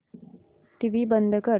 TV बंद कर